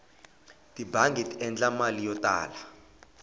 tibangi ti endla mali yo tala